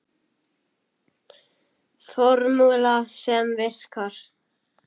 Formúla sem virkar.